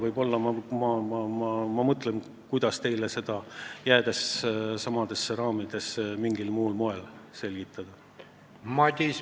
Võib-olla ma mõtlen siis välja, kuidas seda teile mingil muul moel selgitada, jäädes samadesse raamidesse.